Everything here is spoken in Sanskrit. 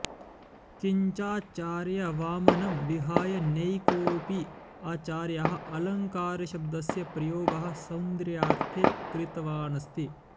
किञ्चाचार्यवामनं विहाय नैकोऽपि आचार्यः अलङ्कारशब्दस्य प्रयोगः सौन्दर्याऽर्थे कृतवानस्ति